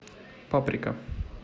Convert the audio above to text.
паприка